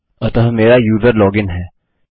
अतः मेरा user log in है